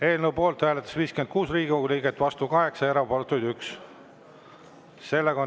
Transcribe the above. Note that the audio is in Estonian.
Eelnõu poolt hääletas 56 Riigikogu liiget, vastu 8 ja erapooletuid 1.